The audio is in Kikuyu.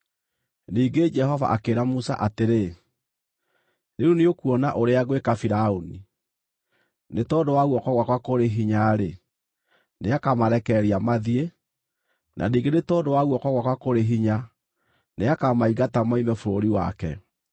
Ningĩ Jehova akĩĩra Musa atĩrĩ, “Rĩu nĩũkuona ũrĩa ngwĩka Firaũni: Nĩ tondũ wa guoko gwakwa kũrĩ hinya-rĩ, nĩakamarekereria mathiĩ; na ningĩ nĩ tondũ wa guoko gwakwa kũrĩ hinya, nĩakamaingata moime bũrũri wake.”